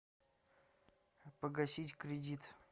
погасить кредит